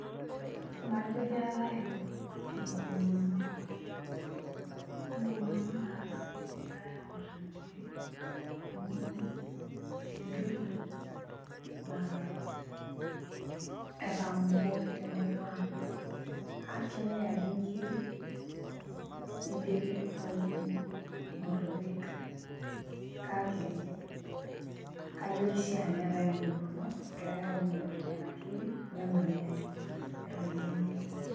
Majo keetae enkomono ,enkomono naasi egirae aor inkiri amu entoki naa etamooki temurua ang aa kenyae ake nkiri nidipi neoki motorik, kake kajo kishaa neetae enkomono egirae aomonoki nenakiri eton itu enyae nemayiani.